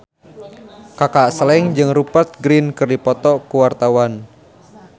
Kaka Slank jeung Rupert Grin keur dipoto ku wartawan